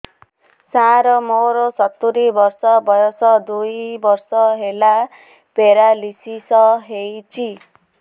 ସାର ମୋର ସତୂରୀ ବର୍ଷ ବୟସ ଦୁଇ ବର୍ଷ ହେଲା ପେରାଲିଶିଶ ହେଇଚି